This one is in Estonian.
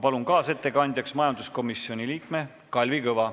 Palun kaasettekandjaks majanduskomisjoni liikme Kalvi Kõva.